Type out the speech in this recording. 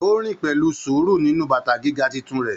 O rin pẹlú sùúrù nínú bàtà gíga títún rẹ.